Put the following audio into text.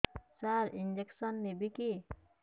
ସାର injection ନେବିକି